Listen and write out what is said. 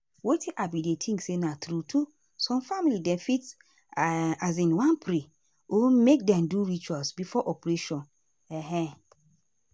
wetin i bin dey think na say true true some family dem fit um wan pray (rest small) or make dem do ritual before operation. um